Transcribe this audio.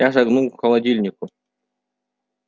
я шагнул к холодильнику